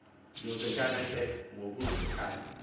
yozekana ke ngokuzekana